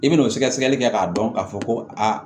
I bɛn'o sɛgɛsɛgɛli kɛ k'a dɔn k'a fɔ ko aa